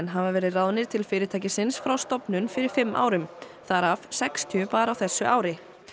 hafa verið ráðnir til fyrirtækisins frá stofnun fyrir fimm árum þar af sextíu bara á þessu ári